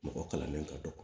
Mɔgɔ kalannen ka dɔgɔ